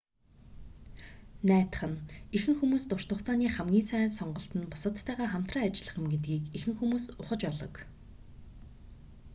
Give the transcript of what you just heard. найдах нь ихэнх хүмүүс урт хугацааны хамгийн сайн сонголт нь бусаддтайгаа хамтран ажиллах юм гэдгийг ихэнх хүмүүс ухаж олог